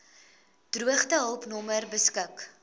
droogtehulp nommer beskik